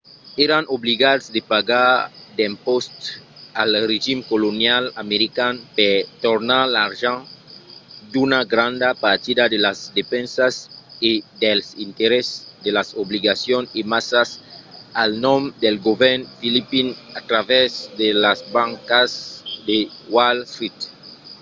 èran obligats de pagar d'impòstes al regim colonial american per tornar l'argent d'una granda partida de las despensas e dels interèsses de las obligacions emesas al nom del govèrn filipin a travèrs de las bancas de wall street